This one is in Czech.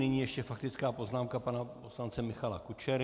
Nyní ještě faktická poznámka pana poslance Michala Kučery.